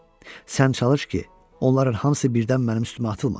Sən çalış ki, onların hamısı birdən mənim üstümə atılmasın.